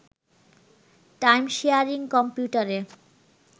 time-sharing কম্পিউটারে